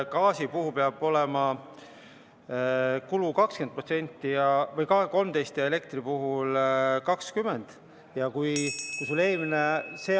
Gaasi puhul peab olema kulu 13% ja elektri puhul 20%.